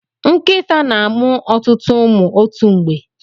Nkịta na-amụ ọtụtụ ụmụ otu mgbe.